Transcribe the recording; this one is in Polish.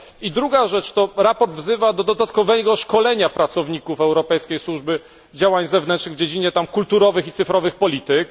I druga rzecz sprawozdanie to wzywa do dodatkowego szkolenia pracowników Europejskiej Służby Działań Zewnętrznych w dziedzinie kulturowych i cyfrowych polityk.